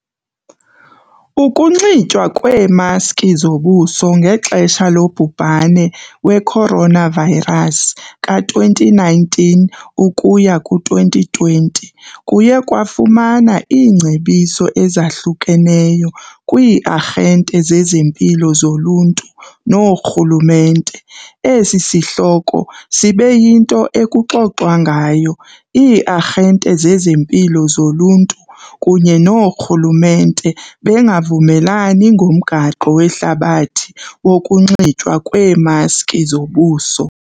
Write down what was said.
Ukunxitywa kweemaski zobuso ngexesha lobhubhane we-coronavirus ka-2019 ukuya ku-2020 kuye kwafumana iingcebiso ezahlukeneyo kwii-arhente zezempilo zoluntu noorhulumente. Esi sihloko sibe yinto ekuxoxwa ngayo, ii-arhente zezempilo zoluntu kunye noorhulumente bengavumelani ngomgaqo wehlabathi wokunxitywa kweemaski zobuso.